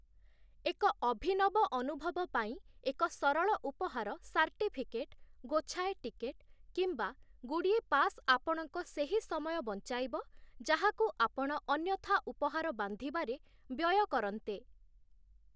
ଏକ ଅଭିନବ ଅନୁଭବ ପାଇଁ ଏକ ସରଳ ଉପହାର ସାର୍ଟିଫିକେଟ୍, ଗୋଛାଏ ଟିକେଟ୍, କିମ୍ବା ଗୁଡ଼ିଏ ପାସ୍ ଆପଣଙ୍କ ସେହି ସମୟ ବଞ୍ଚାଇବ, ଯାହାକୁ ଆପଣ ଅନ୍ୟଥା ଉପହାର ବାନ୍ଧିବାରେ ବ୍ୟୟ କରନ୍ତେ ।